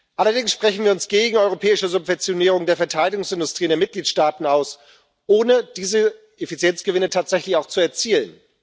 Allerdings sprechen wir uns gegen eine europäische Subventionierung der Verteidigungsindustrie in den Mitgliedstaaten aus, ohne diese Effizienzgewinne tatsächlich auch zu erzielen.